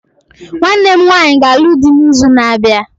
Nwanne m nwanyị ga-alụ dị n'izu na-abịa